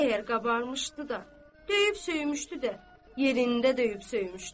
Əgər qabarmışdı da, döyüb söymüşdü də, yerində döyüb söymüşdü.